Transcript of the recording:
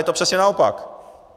Je to přesně naopak!